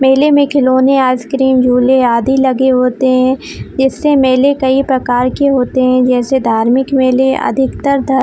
मेले में खिलौने आइस-क्रीम झूले आदि लगे होते है ऐसे मेले कई प्रकार के होते है जैसे धार्मिक मेले अधिकतर धार --